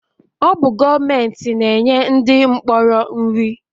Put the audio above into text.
Ọ bụ gọọmenti na-enye ndị mkpọrọ nri